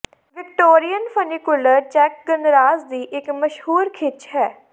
Victorian funicular ਚੈੱਕ ਗਣਰਾਜ ਦੀ ਇੱਕ ਮਸ਼ਹੂਰ ਖਿੱਚ ਹੈ